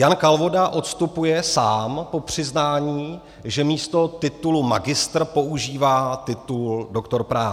Jan Kalvoda odstupuje sám po přiznání, že místo titulu magistr používá titul doktor práv.